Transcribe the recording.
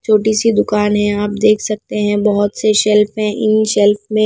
छोटी सी दुकान है आप देख सकते हैं बहुत से शेल्फ हैं इन शेल्फ में --